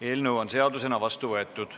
Eelnõu on seadusena vastu võetud.